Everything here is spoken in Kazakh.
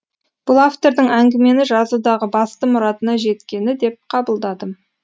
бұл автордың әңгімені жазудағы басты мұратына жеткені деп қабылдадым